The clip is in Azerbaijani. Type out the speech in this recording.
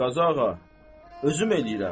Xeyr, Qazıağa, özüm eləyirəm.